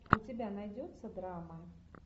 у тебя найдется драма